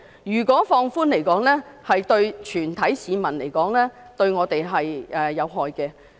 如果放寬有關標準，對全體市民來說是有害的。